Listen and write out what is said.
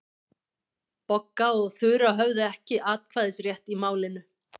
Bogga og Þura höfðu ekki atkvæðisrétt í málinu.